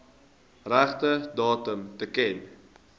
regte datum teken